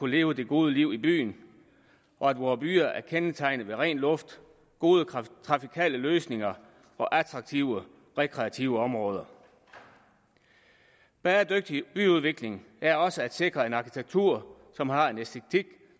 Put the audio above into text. leve det gode liv i byen og at vore byer er kendetegnet ved ren luft gode trafikale løsninger og attraktive rekreative områder bæredygtig byudvikling er også at sikre en arkitektur som har en æstetik